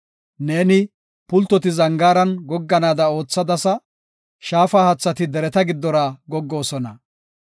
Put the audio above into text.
Neeni, pultoti zangaaran gogganaada oothadasa; shaafa haathati dereta giddora goggoosona.